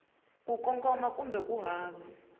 ku kongoma kumbe ku hava